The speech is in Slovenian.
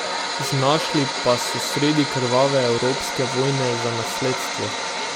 Znašli pa so sredi krvave evropske vojne za nasledstvo.